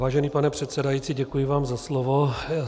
Vážený pane předsedající, děkuji vám za slovo.